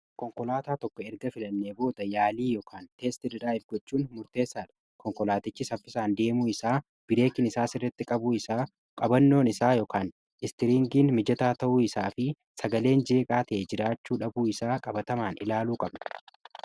konkolaataa tokko erga filannee booda yaalii yookaan teesti diraayivii gochuun murteessaadha. konkolaatichi saffisaan deemuu isaa, bireekin isaa sirritti qabuu isaa, qabannoon isaa yookaan istiriingiin mijataa ta'uu isaa fi sagaleen jeeqaa tae jiraachuu dhabuu isaa qabatamaan ilaaluu qabna.